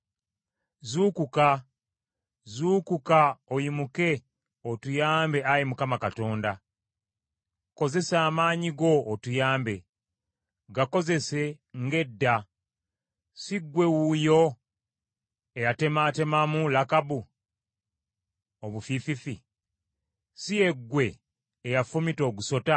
Zuukuka, zuukuka oyimuke otuyambe Ayi Mukama Katonda. Kozesa amaanyi go otuyambe. Gakozese nga edda. Si ggwe wuuyo eyatemaatemamu Lakabu obufiififi? Si ye ggwe eyafumita ogusota?